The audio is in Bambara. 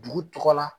Dugu tɔgɔ la